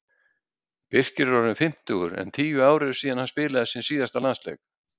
Birkir er orðinn fimmtugur en tíu ár eru síðan hann spilaði sinn síðasta landsleik.